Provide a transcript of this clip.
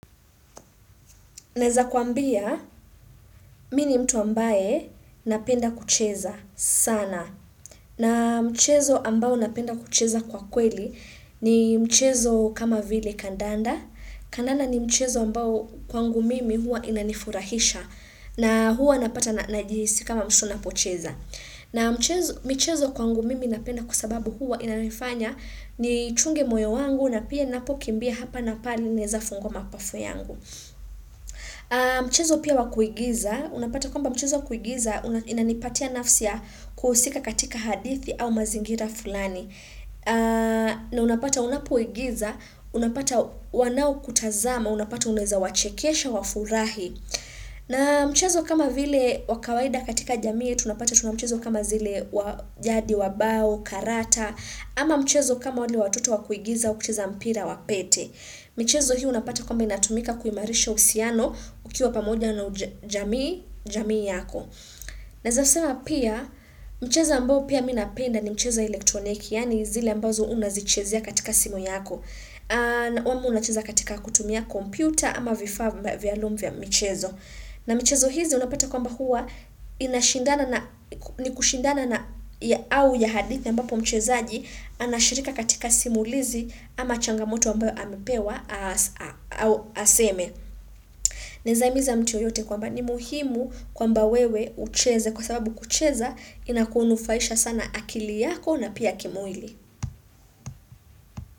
Neza kuambia, mini mtu ambaye napenda kucheza sana. Na mchezo ambao napenda kucheza kwa kweli ni mchezo kama vile kandanda. Kandanda ni mchezo ambao kwangu mimi huwa inanifurahisha. Na huwa napata na najisi kama mshu napocheza. Na mchezo kwangu mimi napenda kusababu huwa inanifanya ni chunge moyo wangu na pia napo kimbia hapa na pali neza fungo mapafu yangu. Mchezo pia wakuigiza, unapata kwamba mchezo wakuigiza inanipatia nafsia kuhusika katika hadithi au mazingira fulani. Na unapata unapoigiza, unapata wanao kutazama, unapata unaeza wachekesha wafurahi. Na mchezo kama vile wakawaida katika jamii, tunapata tunamchezo kama zile wajadi wabao, karata. Ama mchezo kama wale watoto wakuigiza, ukuchiza mpira wapete. Michezo hio unapata kwamba inatumika kuimarisha usiano ukiwa pamoja na jamii yako. Naeza sema pia, mcheza ambao pia minapenda ni mchezo wa elektroniki, yani zile ambazo unazichezia katika simo yako. Kwamba unacheza katika kutumia kompyuta ama vifaa vialum vya michezo. Na mchezo hizi unapata kwa mba hua ni kushindana na au ya hadithi ambapo mchezoaji anashirika katika simulizi ama changamoto ambayo amepewa aseme. Naeza himiza mtu yoyote kwa mba ni muhimu kwa mba wewe ucheze kwa sababu kucheza inakunufaisha sana akili yako na pia kimwili.